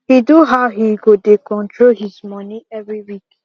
he do how he go dey control his money every week